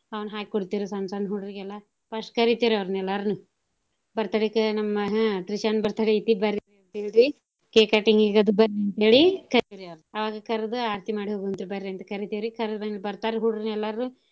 ಅವ್ನ ಹಾಕ್ ಕೊಡ್ತೀವ್ ರಿ ಸಣ್ಣ್ ಸಣ್ಣ್ ಹುಡ್ರ್ಗೆಲ್ಲಾ first ಕರಿತೇವ್ ರಿ ಅವರ್ನ ಎಲ್ಲಾರ್ನೂ birthday ಕ ನಮ್ಮ ಹ್ಮ್ ತ್ರಿಶಾನ್ birthday ಐತಿ ಬರ್ರಿ cake cutting ಗದು ಬರ್ರಿ ಅಂತೇಳಿ ಕರಿತೇವ್ ಅವ್ರ್ನ. ಅವಾಗ ಕರದು ಆರ್ತಿ ಮಾಡಿ ಹೋಗ್ವಂತ್ರಿ ಬರ್ರಿ ಅಂತ್ ಕರಿತೇವ್ ರಿ ಕರ್ದಿಂದ ಬರ್ತಾರಿ ಹುಡ್ರ್ನ ಎಲ್ಲಾರ್ನೂ.